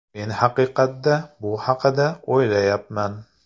Men haqiqatda bu haqida o‘ylayapman.